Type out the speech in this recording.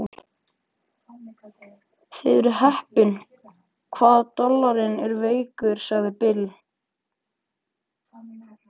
Þið eruð heppin hvað dollarinn er veikur, sagði Bill.